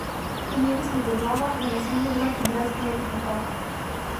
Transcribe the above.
Imeli smo v glavah, da ne smemo delati brezglavih napak.